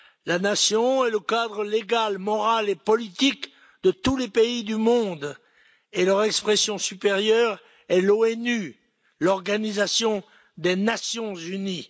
La nation est le cadre légal, moral et politique de tous les pays du monde et leur expression supérieure est l'ONU, l'Organisation des Nations unies.